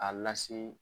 A lase